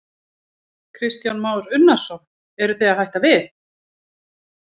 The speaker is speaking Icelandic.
Kristján Már Unnarsson: Eruð þið að hætta við?